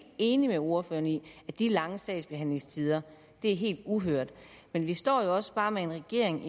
enig med ordføreren i at de lange sagsbehandlingstider er helt uhørte men vi står jo også bare med en regering